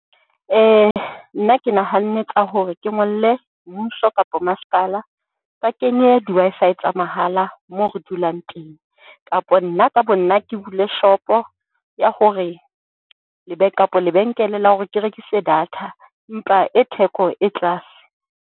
Nna ke nahanne ka hore ke ngolle mmuso kapa masepala ba kenye di-Wi-Fi tsa mahala moo re dulang teng. Kapa nna ka bo nna ke bule shop-o ya hore kapa lebenkele la hore ke rekise data empa e theko e tlase.